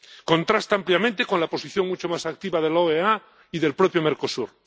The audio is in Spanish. Contrasta ampliamente con la posición mucho más activa de la OEA y del propio Mercosur.